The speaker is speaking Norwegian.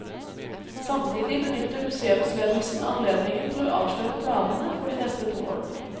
Samtidig benytter museumsledelsen anledningen til å avsløre planene for de neste to årene.